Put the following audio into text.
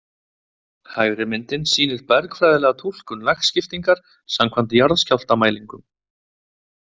Hægri myndin sýnir bergfræðilega túlkun lagskiptingar samkvæmt jarðskjálftamælingum.